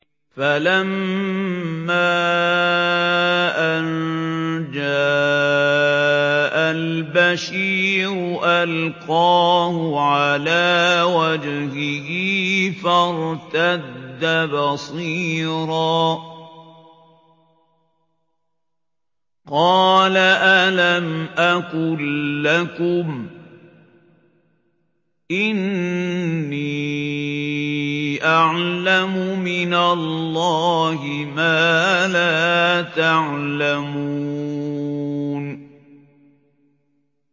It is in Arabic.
فَلَمَّا أَن جَاءَ الْبَشِيرُ أَلْقَاهُ عَلَىٰ وَجْهِهِ فَارْتَدَّ بَصِيرًا ۖ قَالَ أَلَمْ أَقُل لَّكُمْ إِنِّي أَعْلَمُ مِنَ اللَّهِ مَا لَا تَعْلَمُونَ